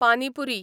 पानी पुरी